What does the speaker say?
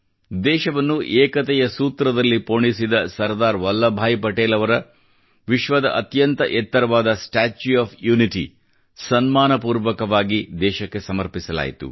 ದೇಶವನ್ನು ಏಕತೆಯ ಸೂತ್ರದಲ್ಲಿ ಪೋಣಿಸಿದ ಸರ್ದಾರ್ ವಲ್ಲಭ ಬಾಯಿ ಪಟೇಲ್ ಅವರ ವಿಶ್ವದ ಅತ್ಯಂತ ಎತ್ತರವಾದ ಸ್ಟ್ಯಾಚ್ಯೂ ಆಫ್ ಯುನಿಟಿ ಸನ್ಮಾನಪೂರ್ವಕವಾಗಿ ದೇಶಕ್ಕೆ ಸಮರ್ಪಿಸಲಾಯಿತು